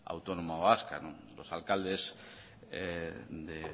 autónoma vasca los alcaldes de